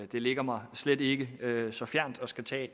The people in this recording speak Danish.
det ligger mig slet ikke så fjernt at skulle tage